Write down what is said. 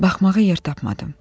Baxmağa yer tapmadım.